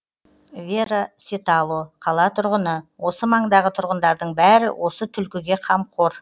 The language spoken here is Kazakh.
вера ситало қала тұрғыны осы маңдағы тұрғындардың бәрі осы түлкіге қамқор